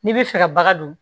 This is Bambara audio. N'i bɛ fɛ ka baga don